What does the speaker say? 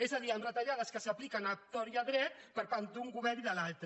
és a dir en retallades que s’apliquen a tort i a dret per part d’un govern i de l’altre